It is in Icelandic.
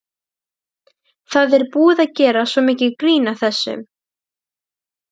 Aðalsteinunn, syngdu fyrir mig „Syndir feðranna“.